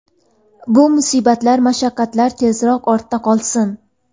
Bu musibatlar, mashaqqatlar tezroq ortda qolsin.